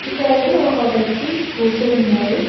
ఇక్కడైతే ఒక వ్యక్తి కూర్చుని ఉన్నారు.